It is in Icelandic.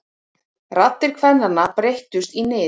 Raddir kvennanna breyttust í nið.